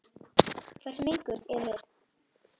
Hversu menguð erum við?